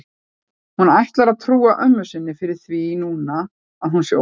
Hún ætlar að trúa ömmu sinni fyrir því núna að hún sé ólétt.